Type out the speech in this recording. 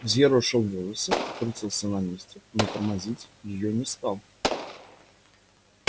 взъерошил волосы крутился на месте но тормозить её не стал